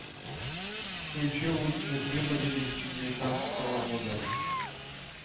включи лучшие клипы две тысячи девятнадцатого года